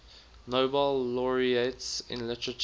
nobel laureates in literature